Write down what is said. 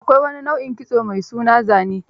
Akwai wani nau'in kitso mai suna zane